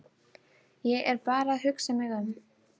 Ég er bara að hugsa mig um.